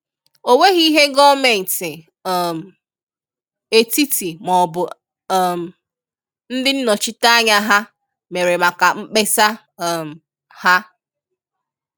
Ọ nweghị ihe gọ́ọmenti um etiti maọbụ um ndị nnọchiteanya ha mere maka mkpesa um ha.